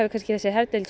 þessi herdeild